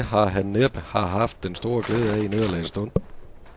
Det har han næppe har haft den store glæde af i nederlagets stund.